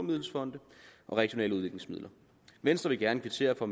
regionale udviklingsmidler venstre vil gerne kvittere for